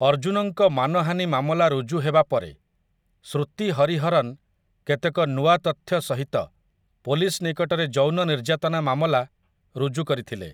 ଅର୍ଜୁନଙ୍କ ମାନହାନି ମାମଲା ରୁଜୁ ହେବା ପରେ, ଶ୍ରୁତି ହରିହରନ୍ କେତେକ ନୂଆ ତଥ୍ୟ ସହିତ ପୋଲିସ ନିକଟରେ ଯୌନ ନିର୍ଯ୍ୟାତନା ମାମଲା ରୁଜୁ କରିଥିଲେ ।